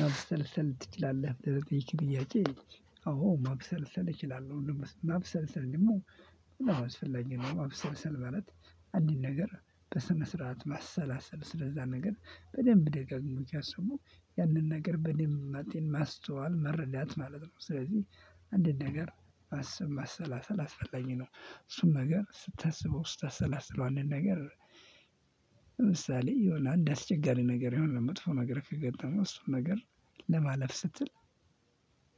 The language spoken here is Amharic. ማብሰልሰል ትችላለህ ብለህ ለጠየከኝ ጥያቄ? አዎ ማብሰልሰል እችላለሁ ማብሰልሰል ደግሞ በጣም አስፈላጊ ነው። ማብሰልሰል ማለት አንድን ነገር በስነ ስርዓት ማሰላሰል ስለዛ ነገር በደንብ ደጋግሞ ሲያስቡ ያንን ነገር በደንብ ማጤን ማስተዋል መረዳት ማለት ነው። ስለዚህ አንድን ነገር ማሰብ ማሰላሰል አስፈላጊ ነው። እሱን ነገር ስታስበው ስታሰላስለው አንድን ነገር። ለምሳሌ የሆነ አንድ አስቸጋሪ ነገር የሆነ መጥፎ ነገር ከገጠመው እሱን ነገር ለማለፍ ስትል።